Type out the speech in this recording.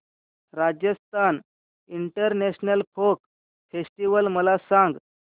Rajasthan international folk festival मला सांग